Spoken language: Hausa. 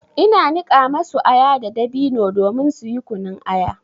Ina niƙa masu aya da dabino domin suyi kunun aya.